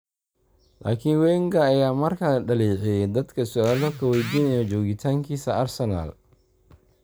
laakiin Wenger ayaa mar kale dhaleeceeyay dadka su’aalo ka weydiiya joogitaankiisa Arsenal.